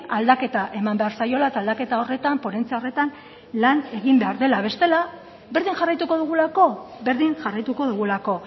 aldaketa eman behar zaiola eta aldaketa horretan ponentzia horretan lan egin behar dela bestela berdin jarraituko dugulako berdin jarraituko dugulako